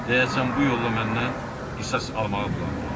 Deyəsən bu yolla məndən qisas almağı planlayırdı.